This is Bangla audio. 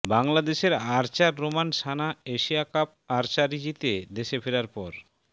বাংলাদেশের archer Roman Sana Asia cup archery জিতে দেশে ফেরার পর